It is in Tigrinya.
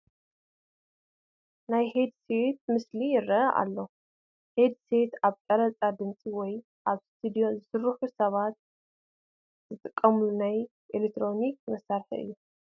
ናይ ሄድ ሴት ምስሊ ይርአ ኣሎ፡፡ ሂድ ሴት ኣብ ቀረፃ ድምፂ ወይ ኣብ ስቱድዮ ዝሰርሑ ሰባት ዝጥቀሙሉ ናይ ኤለክትሮኒክ መሳርሒ እዩ፡፡